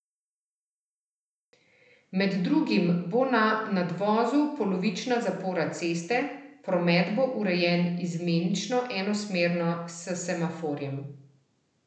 Med drugim bo na nadvozu polovična zapora ceste, promet bo urejen izmenično enosmerno s semaforjem.